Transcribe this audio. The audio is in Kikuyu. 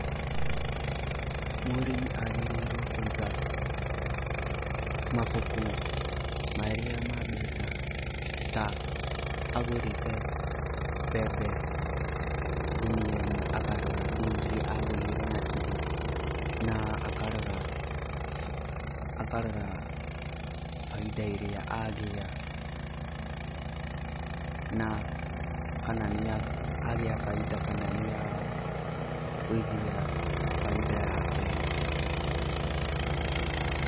Mũrĩmi agĩrĩirwo kũiga mabuku marĩa ma mbeca ta; agũrĩte mbembe ngũnia ĩmwe akarora mbia iria agũrĩre nacio na akarora bainda ĩrĩa agĩa na kana nĩ agĩa bainda kana nĩ agũithia bainda yake.